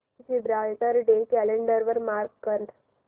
Gibraltar day calendar वर mark कर